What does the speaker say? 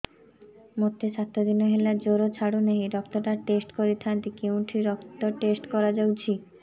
ମୋରୋ ସାତ ଦିନ ହେଲା ଜ୍ଵର ଛାଡୁନାହିଁ ରକ୍ତ ଟା ଟେଷ୍ଟ କରିଥାନ୍ତି କେଉଁଠି ରକ୍ତ ଟେଷ୍ଟ କରା ଯାଉଛି